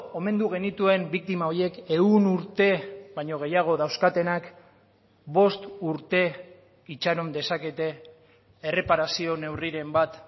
omendu genituen biktima horiek ehun urte baino gehiago dauzkatenak bost urte itxaron dezakete erreparazio neurriren bat